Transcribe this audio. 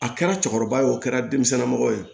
A kɛra cɛkɔrɔba ye o kɛra denmisɛnnin ma mɔgɔ ye